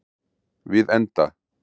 Við enda